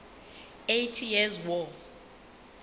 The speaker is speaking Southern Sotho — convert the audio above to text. eighty years war